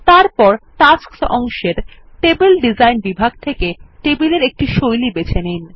তারপর টাস্কস অংশের table design বিভাগ থেকে টেবিলের একটি শৈলী বেছে নিন